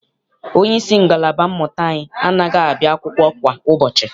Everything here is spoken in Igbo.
Onyeisi ngalaba mmụta anyị anaghị abịa akwụkwọ kwa ụbọchị.